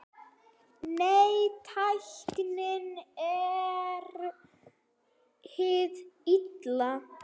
Nei, tæknin er hið illa.